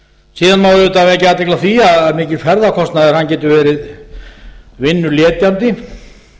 síðan má auðvitað vekja athygli á því að mikill ferðakostnaður getur verið vinnuletjandi